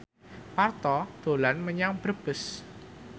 Parto dolan menyang Brebes